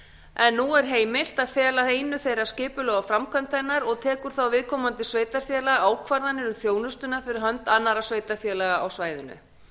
en nú er heimilt að fela einu þeirra skipulag og framkvæmd hennar og tekur þá viðkomandi sveitarfélag ákvarðanir um þjónustuna fyrir hönd annarra sveitarfélaga á svæðinu